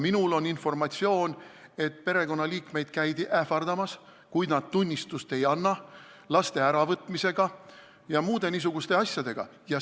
Minul on informatsioon, et perekonnaliikmeid käidi ähvardamas, kui nad tunnistust ei anna, laste äravõtmisega ja muude niisuguste asjadega.